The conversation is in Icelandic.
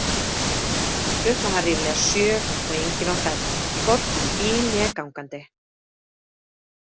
Klukkan var ríflega sjö og enginn á ferð, hvorki í bíl né gangandi.